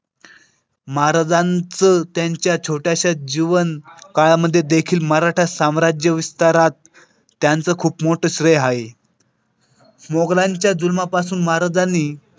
महाराजांचं त्यांच्या छोट्याशा जीवन काळामध्ये देखील मराठा साम्राज्य विस्तारात त्यांचं खूप मोठं श्रेय आहे मोगलांच्या जुलमापासून महाराजांनी.